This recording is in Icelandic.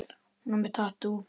Hún er með tattú.